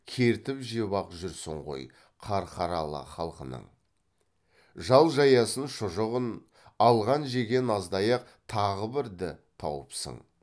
кертіп жеп ақ жүрсің ғой қарқаралы халқының жал жаясын шұжығын алған жеген аздай ақ тағы бірді тауыпсың